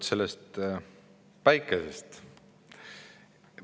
No sellest päikesest.